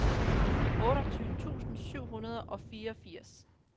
otteogtyve tusind syv hundrede og fireogfirs